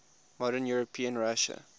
modern european russia